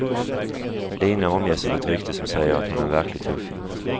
Lina omges av ett rykte som säger att hon är en verklig tuffing.